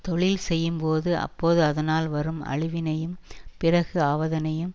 தொழில் செய்யும்போது அப்போது அதனால் வரும் அழிவினையும் பிறகு ஆவதனையும்